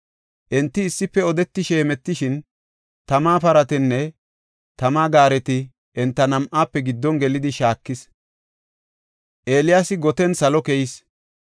Enti issife odetishe hemetishin, tama paratinne tama gaareti enta nam7aafe giddon gelidi, shaakis. Eeliyaasi goten salo keyis.